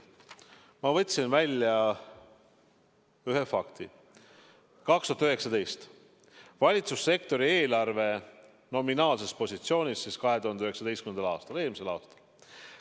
Ma võtsin välja ühe fakti, valitsussektori eelarve nominaalse positsiooni 2019. aastal, eelmisel aastal.